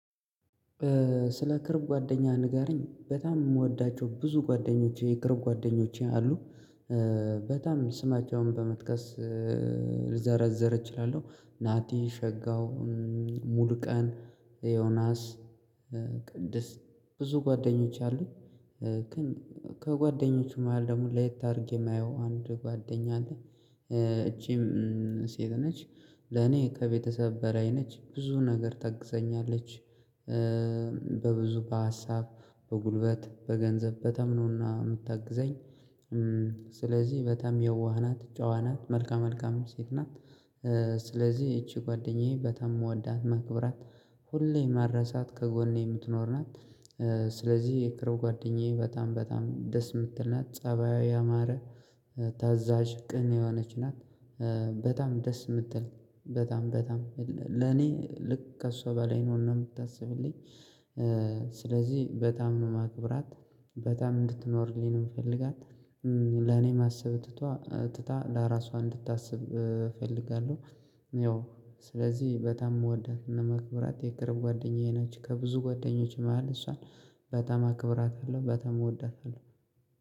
ስለ ቅርብ ጓደኛ ንገሪኝ በጣም የምወዳቸው ብዙ ጓደኞቼ የቅርብ ጓደኞቼ አሉ። በጣም ስማቸውን በመጥቀስ ልዘረዘር እችላለሁ። ናቲ ሸጋው ሙሉቀን ዮናስ ቅድስት ብዙ ጓደኞች አሉኝ። ከጓደኞቹ መሃል ደግሞ ለየት አድርጌ የማየው አንድ ጓደኛ አለኝ። እቺም ሴት ነች። ለኔ ከቤተሰብ በራይ ነች ብዙ ነገር ታግዘኛለች። በብዙ በሀሳብ በጉልበት በገንዘብ በተምኖና የምታግዘኝ። ስለዚህ በጣም የዋህ ናት ጨዋ ናት መልካ መልካም ሴት ናት። ስለዚህ ይቺ ጓደኛዬ በጣም የምወዳት ማከብራት ሁሌም ማረሳት ከጎኔ የምትኖር ናት። ስለዚህ የቅርብ ጓደኛዬ በጣም በጣም ደስ የምትል ናት። ፀባያው ያማረ ታዛዥ ቅን የሆነች ናት። በጣም ደስ የምትል በጣም በጣም ለኔ ልክ ከእሷ በላይ ነው የምታስብልኝ። ስለዚህ በጣም ነው ማክብራት በጣም እንድትኖርልኝ ነው የምፈልጋት። ለኔ ማሰብ ትቷ ትታ ለራሷ እንድታስብ እፈልጋለሁ። በጣም ደስ የምትል በጣም በጣም ለኔ ልክ ከእሷ በላይ ነው የምታስብልኝ። ስለዚህ በጣም ነው ማክብራት በጣም እንድትኖርልኝ ነው የምፈልጋት።